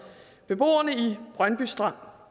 beboerne i brøndby strand